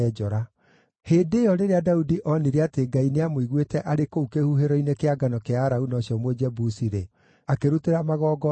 Hĩndĩ ĩyo, rĩrĩa Daudi onire atĩ Ngai nĩamũiguĩte arĩ kũu kĩhuhĩro-inĩ kĩa ngano kĩa Arauna ũcio Mũjebusi-rĩ, akĩrutĩra magongona hau.